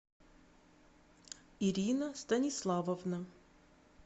ирина станиславовна